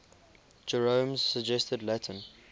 jerome's suggested latin